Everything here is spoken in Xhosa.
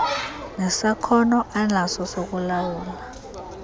nesakhono anaso sokulawula